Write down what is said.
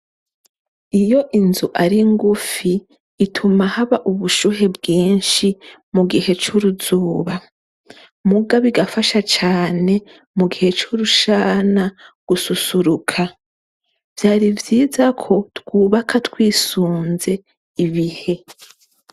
Iyo inzu ari ngufi ituma haba ubushuhe bwinshi mu gihe c'uruzuba mugabo igafasha cane mu gihe c'urushana gususuruka. Vyari vyiza ko twubaka twisunze ibihe.